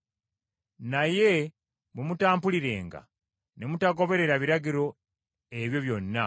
“Naye bwe mutampulirenga, ne mutagondera biragiro ebyo byonna,